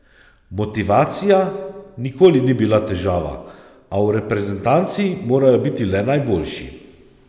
Motivacija nikoli ni bila težava, a v reprezentanci morajo biti le najboljši.